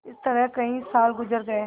इस तरह कई साल गुजर गये